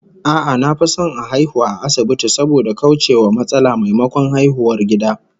A'a, na fi son a haihu a asibiti saboda kauce wa matsala, maimakon haihuwar gida